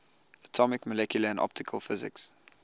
atomic molecular and optical physics